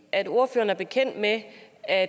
er